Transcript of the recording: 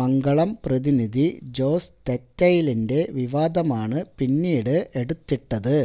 മംഗളം പ്രതിനിധി ജോസ് തെറ്റയിലിന്റെ വിവാദമാണ് പിന്നീട് എടുത്തിട്ടത്